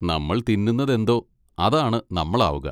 നമ്മൾ തിന്നുന്നതെന്തോ അതാണ് നമ്മൾ ആവുക.